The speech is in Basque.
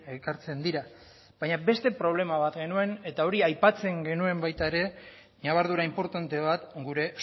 ekartzen dira baina beste problema bat genuen eta hori aipatzen genuen baita ere ñabardura inportante bat gure